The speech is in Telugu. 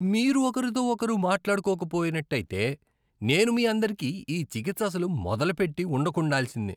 మీరు ఒకరితో ఒకరు మాట్లాడుకోక పోయినట్టయితే, నేను మీ అందరికి ఈ చికిత్స అసలు మొదలుపెట్టి ఉండకుండాల్సింది .